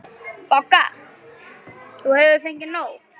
BOGGA: Þú hefur fengið nóg.